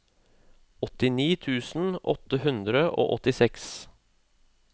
åttini tusen åtte hundre og åttiseks